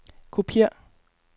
kopiér